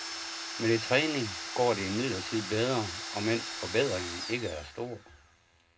Med lidt træning går det imidlertid bedre, omend forbedringen ikke er stor.